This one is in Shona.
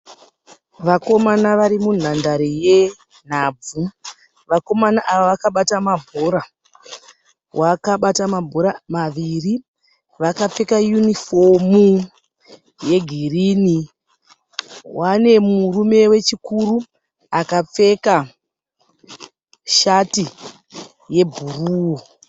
Vakomana varimunhandare yenhabvu. Vakomana ava vakabata mabhora. Vakabata mabhora maviri. Vakapfeka yunifomu yegirini. Vane murume wechikuru akapfeka shati yebhuruu.